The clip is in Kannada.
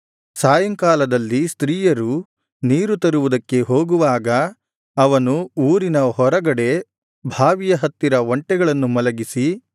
ಸಾಯಂಕಾಲದಲ್ಲಿ ಸ್ತ್ರೀಯರು ನೀರು ತರುವುದಕ್ಕೆ ಹೋಗುವಾಗ ಅವನು ಊರಿನ ಹೊರಗಡೆ ಬಾವಿಯ ಹತ್ತಿರ ಒಂಟೆಗಳನ್ನು ಮಲಗಿಸಿ